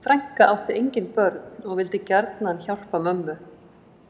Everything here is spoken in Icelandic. Þessi frænka átti engin börn og vildi gjarnan hjálpa mömmu